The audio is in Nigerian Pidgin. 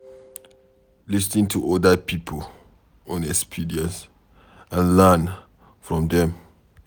Lis ten to oda pipo own experience and learn from them